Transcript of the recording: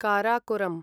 Karakoram